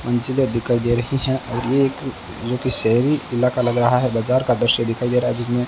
मंजिला दिखाई दे रही हैं और ये एक जो कि शहरी इलाका लग रहा है बाजार का दृश्य दिखाई दे रहा है जिसमें --